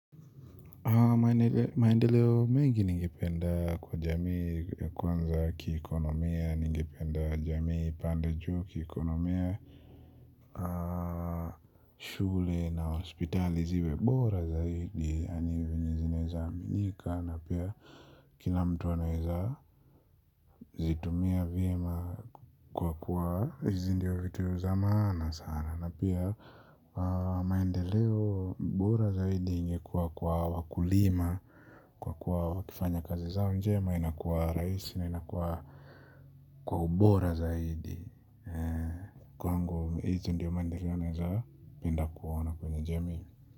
Maendeleo mengi ningependa kwa jamii ya kwanza kiukonomia, ningependa jamii ipande juu kiukonomia. Shule na hospitali ziwe bora zaidi yaani zenye zinaeza aminika. Na pia kila mtu anaeza zitumia vyema kwa kuwa hizi ndio vitu za maana sana. Na pia maendeleo bora zaidi ingekuwa kwa wakulima. Kwa kuwa wakifanya kazi zao njema inakuwa rahisi na inakuwa kwa ubora zaidi. Kwangu hizi ndio mandeleo naeza penda kuona kwenye jamii.